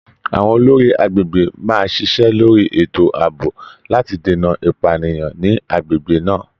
Àwọn olórí agbègbè máa ṣiṣẹ́ lórí ètò ààbò láti dènà ìpànìyàn ni agbègbè náà.